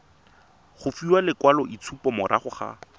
go fiwa lekwaloitshupo morago ga